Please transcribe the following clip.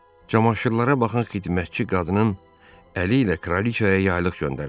Camaşırlara baxan xidmətçi qadının əli ilə Kralıçaya yaylıq göndərilib.